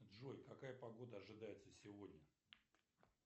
джой какая погода ожидается сегодня